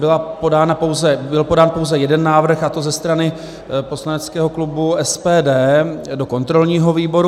Byl podán pouze jeden návrh, a to ze strany poslaneckého klubu SPD do kontrolního výboru.